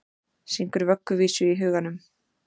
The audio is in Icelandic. Syngur vögguvísu í huganum.